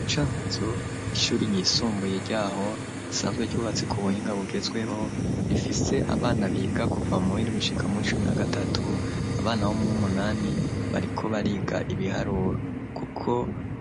Mu Cankuzo ishuri ry'isumbuye ryaho risanzwe ryubatse ku buhinga bugezweho, rifise abana biga kuva mu w'indwi gushika mu w'icumi na gatatu, abana bo muwumunani bariko bariga ibiharuro, kuko